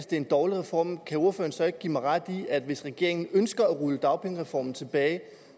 det er en dårlig reform kan ordføreren så ikke give mig ret i at hvis regeringen ønsker at rulle dagpengereformen tilbage